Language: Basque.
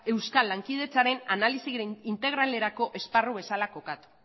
euskal lankidetzaren analisi integralerako esparru bezala kokatu